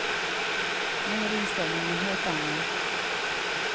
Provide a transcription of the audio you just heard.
Nu är inställningen en helt annan.